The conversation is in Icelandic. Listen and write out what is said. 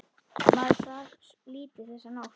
Maður svaf lítið þessa nótt.